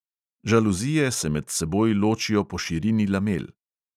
Žaluzije se med seboj ločijo po širini lamel.